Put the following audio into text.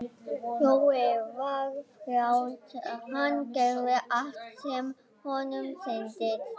Jói var frjáls, hann gerði allt sem honum sýndist.